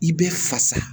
I bɛ fasa